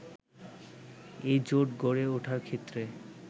এই জোট গড়ে ওঠার ক্ষেত্রে